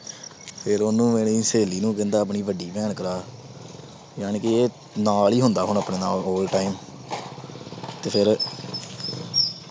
ਫਿਰ ਉਹਨੂੰ ਮੇਰੀ ਸਹੇਲੀ ਨੂੰ ਕਹਿੰਦਾ ਆਪਣੀ ਵੱਡੀ ਭੈਣ ਕਰਾ। ਯਾਨੀ ਕਿ ਨਾਲ ਈ ਹੁੰਦਾ ਹੁਣ ਆਪਣੇ ਨਾਲ whole time ਤੇ ਫੇਰ।